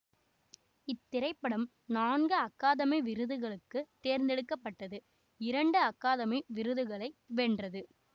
இத்திரைப்படம் நான்கு அகாதமி விருதுகளுக்கு தேர்ந்தெடுக்க பட்டது இரண்டு அகாதமி விருதுகளை வென்றது